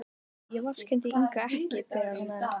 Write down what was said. Nei, ég vorkenndi Ingu ekki, byrjar hún enn.